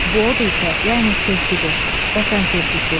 Bu od isə yalnız sevgidir, vətən sevgisi.